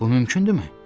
Bu mümkündürmü?